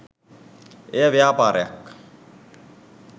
එය ව්‍යාපාරයක්